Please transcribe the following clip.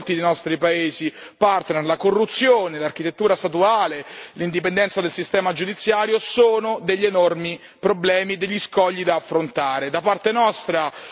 Purtroppo, però, è evidente che in molti dei nostri paesi partner la corruzione, l'architettura statuale, l'indipendenza del sistema giudiziario sono degli enormi problemi, degli scogli da affrontare.